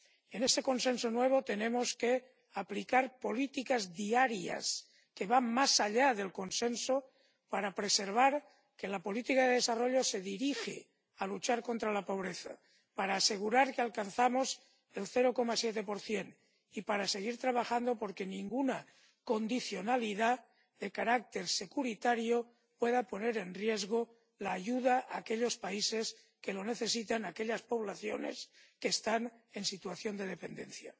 En ese consenso nuevo tenemos que aplicar políticas diarias que van más allá del consenso para preservar que la política de desarrollo se dirija a luchar contra la pobreza, para asegurar que alcanzamos el 0,7 y para seguir trabajando por que ninguna condicionalidad de carácter securitario pueda poner en riesgo la ayuda a aquellos países que lo necesitan, a aquellas poblaciones que están en situación de dependencia.